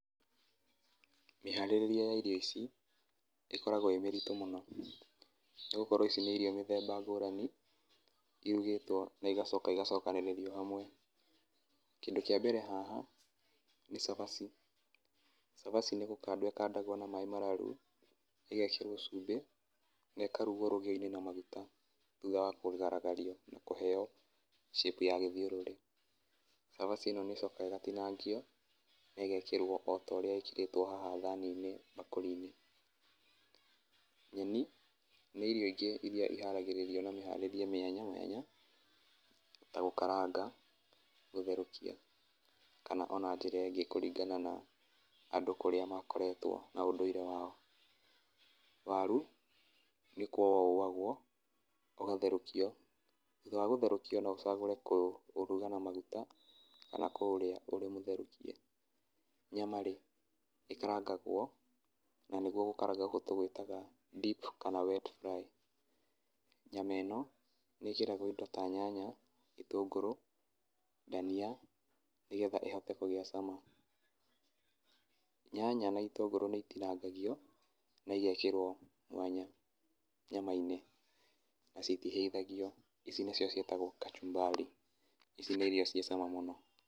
Mĩharĩrĩrie ya irio ici, ĩkoragwo ĩĩ mĩritũ mũno. Nĩgũkorũo ici na irio mĩthemba ngũrani, irugĩtwo na igacoka igacokanĩrĩrio hamwe. Kĩndũ kĩa mbere haha nĩ cabaci. Cabaci nĩ gũkandwo ikandagwo na maaĩ mararu ĩgekĩrwo cubĩ na ĩkarugwo na rũgĩoinĩ na maguta thutha wa kugaragaria na kũheo shape ya gĩthiũrũrĩ. Cabaci ĩno nĩ ĩcokaga ĩgatinangio na ĩgekĩrũo otaũrĩa ĩkĩrĩtũo haha thaani-inĩ, bakũri-inĩ. Nyeni, nĩ irio ingĩ iri ciharagĩrĩrio na mĩharĩrĩrie mwanya mwanya, ta gũkaranga, gũtherũkia kana ona njira ĩngĩ kũringa na andũ kũrĩa makoretwo na ũndũire wao. Waru, nĩ kũũo ũwagũo, ũgatherũkio thutha wa gũtherũkio no ũcagũre kũruga na maguta kana kũũrĩa ũrĩ mũtherũkie. Nyama rĩ, ĩkarangagwo na nĩguo gũkaranga tũgũĩtaga deep kana wet fry. Nyama ĩno nĩ ĩkĩragũo indo ta nyanya, itũngũrũ, dania, nĩgetha ĩhote kũgĩa cama. Nyanya na itũngũrũ nĩ itinangagio na igekĩrũo mwanya nyama-inĩ na citihaithagio, ici nĩcio ciatagũo kachumbari, ici nĩ irio ciĩ cama mũno.